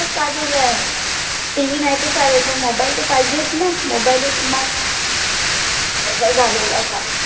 TV नाही त चालेल पन mobile त पाहिजेच ना mobile is must असा झालेलाय आता